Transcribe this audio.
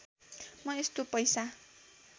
म यस्तो पैसा